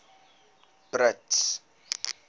brits